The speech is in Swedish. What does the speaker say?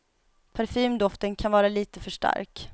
Parfymdoften kan vara lite för stark.